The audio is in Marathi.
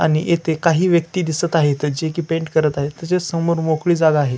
आणि येथे काही व्यक्ती दिसत आहेत जे की पेंट करत आहेत तसेच समोर मोकळी जागा आहे.